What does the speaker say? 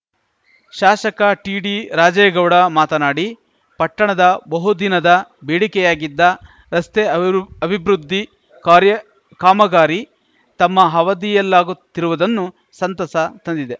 ಶಾಸಕ ಟಿಡಿ ರಾಜೇಗೌಡ ಮಾತನಾಡಿ ಪಟ್ಟಣದ ಬಹುದಿನದ ಬೇಡಿಕೆಯಾಗಿದ್ದ ರಸ್ತೆ ಅಭಿ ಅಭಿಬೃದ್ಧಿ ಕಾರ್ಯ ಕಾಮಗಾರಿ ತಮ್ಮ ಹವಧಿಯಲ್ಲಾಗುತ್ತಿರುವುದನ್ನು ಸಂತಸ ತಂದಿದೆ